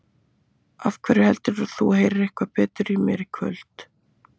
Af hverju heldurðu að þú heyrir eitthvað betur í mér í kvöld?